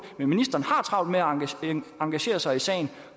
men ministeren har travlt med at engagere sig i sagen og